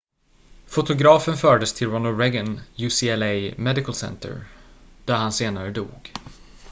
fotografen fördes till ronald reagan ucla medical center där han senare dog